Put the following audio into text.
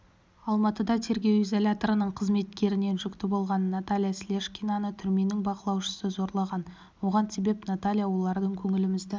алматыда тергеу изоляторының қызметкерінен жүкті болған наталья слешкинаны түрменің бақылаушысы зорлаған оған себеп наталья олардың көңілімізді